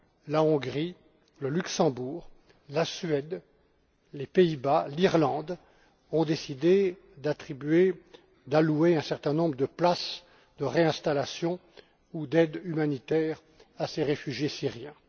la Hongrie, le Luxembourg, la Suède, les Pays Bas et l'Irlande ont décidé d'allouer un certain nombre de places de réinstallation ou d'aides humanitaires à ces réfugiés syriens.